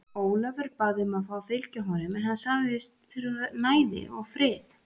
Ólafur bað um að fá að fylgja honum en hann sagðist þurfa næði og frið.